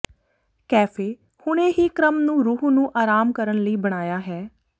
cafe ਹੁਣੇ ਹੀ ਕ੍ਰਮ ਨੂੰ ਰੂਹ ਨੂੰ ਆਰਾਮ ਕਰਨ ਲਈ ਬਣਾਇਆ ਹੈ